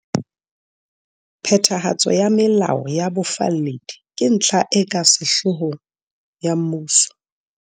Phethahatso ya melao ya bofalledi ke ntlha e ka sehloohong ya mmuso.